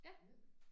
Ja